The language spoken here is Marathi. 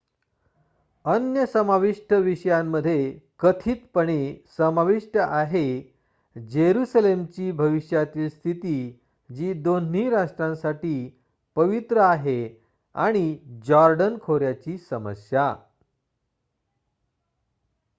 अन्य समावष्ट विषयांमध्ये कथितपणे समाविष्ट आहे जेरुसालेमची भविष्यातील स्थिती जी दोन्ही राष्ट्रांसाठी पवित्र आहे आणि जॉर्डन खोऱ्याची समस्या